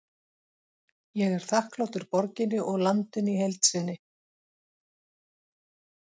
Ég er þakklátur borginni og landinu í heild sinni.